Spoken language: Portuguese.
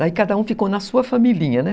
Daí cada um ficou na sua familhinha, né?